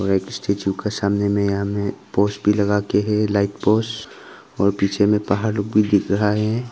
Like statue का सामने में यहाँ में पोस्ट भी लगाके है। लाइट पोस्ट और पीछे में पहाड़ लुक भी दिख रहा है।